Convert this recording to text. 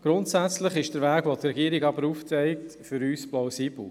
Grundsätzlich ist der Weg, den die Regierung aufzeigt, aus unserer Sicht plausibel.